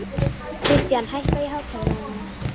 Kristian, hækkaðu í hátalaranum.